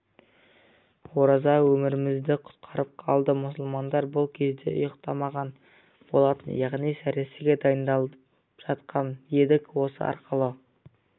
ораза өмірімізді құтқарып қалды мұсылмандар бұл кезде ұйықтамаған болатын яғни сәресіге дайындалып жатқан едік осы арқылы